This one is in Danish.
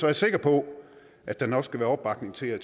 jeg sikker på at der nok skal være opbakning til at